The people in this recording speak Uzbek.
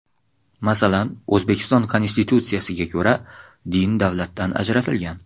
Masalan, O‘zbekiston Konstitutsiyasiga ko‘ra din davlatdan ajratilgan.